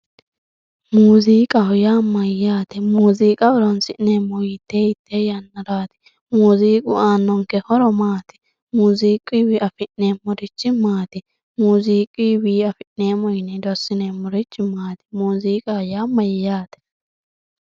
muuziiqaho yaa mayyaatero muuziiqa horoonsi'neemmohu hiittee hiittee yannaraati muuziiqu aannonke horo maati muuziiquyiiwi afi'neemmorichi maati muuziiquyiiwi afi'neemmo yine hedo assineemmorichi maati muuziiqaho yaa mayyaatero.